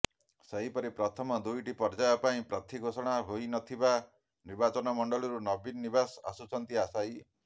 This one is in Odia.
ସେହିପରି ପ୍ରଥମ ଦୁଇଟି ପର୍ୟ୍ୟାୟ ପାଇଁ ପ୍ରାର୍ଥୀ ଘୋଷଣା ହୋଇ ନଥିବା ନିର୍ବାଚନମଣ୍ଡଳୀରୁ ନବୀନ ନିବାସ ଆସୁଛନ୍ତି ଆଶାୟୀ